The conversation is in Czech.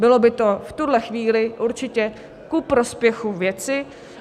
Bylo by to v tuto chvíli určitě ku prospěchu věci.